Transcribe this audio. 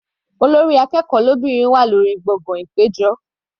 Olórí akẹ́kọ̀ọ́ lóbìnrin wà lórí gbọ̀ngàn ìpéjọ.